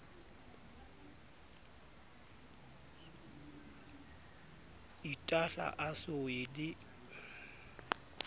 itahla a so ye le